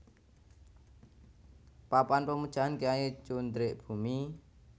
Papan Pemujaan Kyai Cundrik Bumi